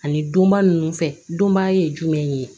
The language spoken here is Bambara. Ani donba ninnu fɛ donbaya ye jumɛn ye